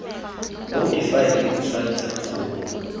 moo difaele di tshwanetseng go